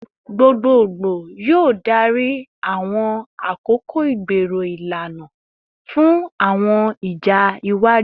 Gbogbogbo yoo darí awọn akoko igbero ilana fun awọn ija iwaju